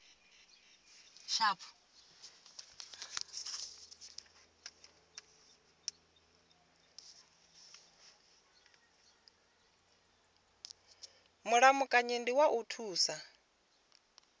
mulamukanyi ndi wa u thusa